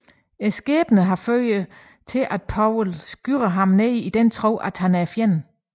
Skæbnen fører imidlertid til at Powell skyder ham ned i den tro at han er fjenden